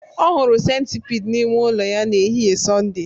Ọ hụrụ centipede n'ime ụlọ ya n'ehihie Sọnde